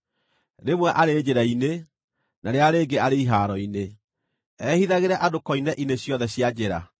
rĩmwe arĩ njĩra-inĩ, na rĩrĩa rĩngĩ arĩ ihaaro-inĩ, ehithagĩre andũ koine-inĩ ciothe cia njĩra.)